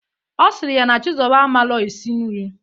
Ọ sịrị ya na Chizọba amalọ esi nri.